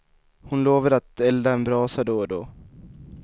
Hon lovade att elda en brasa då och då.